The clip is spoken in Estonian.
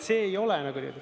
See ei ole …